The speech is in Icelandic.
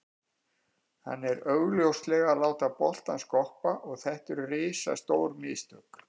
Hann er augljóslega að láta boltann skoppa og þetta eru risastór mistök.